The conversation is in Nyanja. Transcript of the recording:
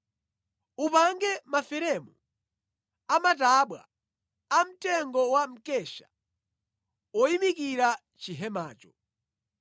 “Upange maferemu amatabwa amtengo wa mkesha oyimikira chihemacho.